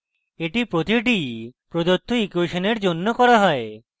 এটি প্রতিটি প্রদত্ত ইকুয়েশনের জন্য করা হয়